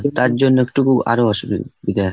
তার জন্য একটুকু আরও অসুবিধে হয়।